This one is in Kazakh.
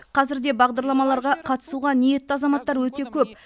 қазірде бағдарламаларға қатысуға ниетті азаматтар өте көп